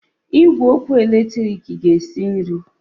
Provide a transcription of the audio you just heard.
Igwe ọkụ eletrik ga-esi nri.